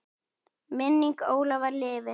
Minning Ólafar lifir.